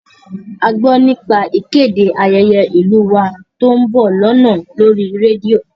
A gbọ́ nípa ìkéde ayẹyẹ ìlú u wa tó ń bọ̀ lọ́nà lórí rédíò